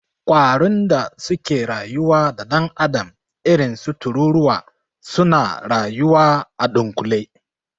Ƙwarun da suke rayuwa da dan'adam irinsu tururuwa, suna rayuwa a dunkule.